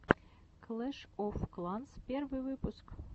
клэш оф кланс первый выпуск